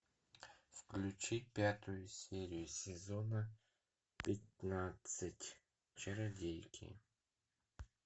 включи пятую серию сезона пятнадцать чародейки